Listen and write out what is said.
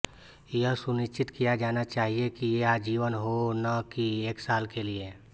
यह सुनिश्चित किया जाना चाहिये कि ये आजीवन हो न कि एक साल के लिए